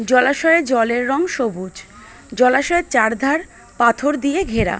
জলাশয়ের জলের রং সবুজ জলাশয়ের চারধার পাথর দিয়ে ঘেরা।